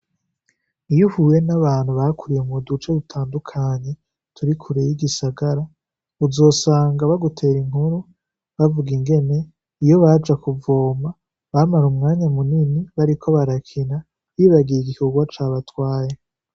Iyo uhuye n’abantu bakuriye mu duce dutandukanye turi kure y’igisagara, uzosanga bagutera inkuru bavuga ingene iyo baja kuvoma bamara umwanya munini bariko barakina, bibagiye igikogwa cabatwaye.